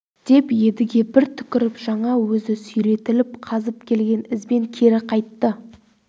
деп едіге бір түкіріп жаңа өзі сүйретіліп қазып келген ізбен кері қайтты